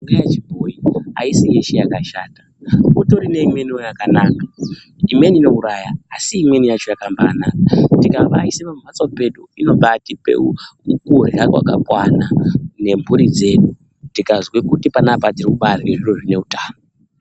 Mishonga yechibhoyi aisi yeshe yakashata kutori neimweni yakanaka, imweni inouraya asi imweni yacho yakambaanaka tikabaaise pamhatso pedu inobaatipa kurya kwakakwana nemhuri dzedu tikazwa kuti panapa tirikurya zviro zvine utano.